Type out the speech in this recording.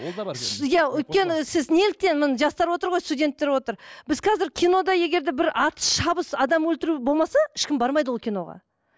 иә өйткені сіз неліктен міне жастар отыр ғой студенттер отыр біз қазір кинода егер де бір атыс шабыс адам өлтіру болмаса ешкім бармайды ол киноға